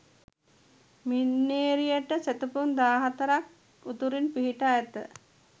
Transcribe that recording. මින්නේරියට සැතැපුම් 14 ක් උතුරින් පිහිටා ඇත.